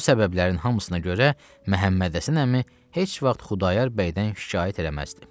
Bu səbəblərin hamısına görə Məhəmməd Həsən əmi heç vaxt Xudayar bəydən şikayət eləməzdi.